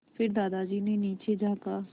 फिर दादाजी ने नीचे झाँका